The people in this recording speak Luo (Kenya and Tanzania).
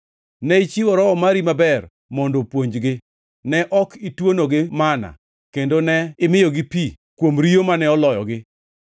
Ne ichiwo Roho mari maber mondo opuonjgi. Ne ok ituonogi manna, kendo ne imiyogi pi kuom riyo mane oloyogi.